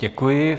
Děkuji.